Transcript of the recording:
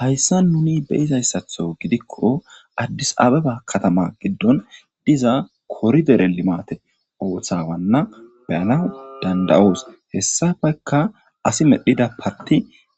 Hayssa nuni beyizayssatho gidikko addisaababa katama giddon diza koridere limate ooththawanna beyana dandayoos hessafekka asi medhida parti